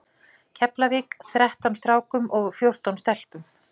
Keflavík, þrettán strákum og fjórtán stelpum.